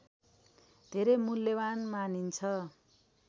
धेरै मूल्यवान् मानिन्छ